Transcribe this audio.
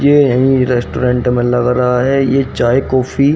ये यही रेस्टोरेंट में लग रहा है ये चाय कॉफी --